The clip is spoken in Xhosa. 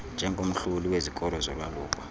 njengomhloli wezikolo zolwaluko